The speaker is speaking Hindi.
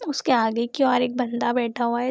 उसके आगे की और एक बंदा बैठा हुआ है।